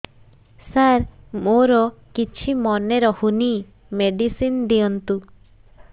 ସାର ମୋର କିଛି ମନେ ରହୁନି ମେଡିସିନ ଦିଅନ୍ତୁ